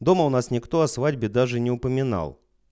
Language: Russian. дома у нас никто о свадьбе даже не упоминал